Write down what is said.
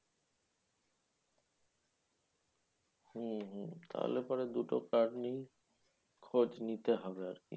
হম হম তাহলে পরে দুটো card নিয়েই খোঁজ নিতে হবে আরকি?